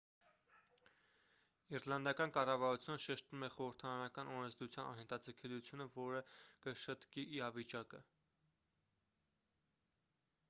իռլանդական կառավարությունը շեշտում է խորհրդարանական օրենսդրության անհետաձգելիությունը որը կշտկի իրավիճակը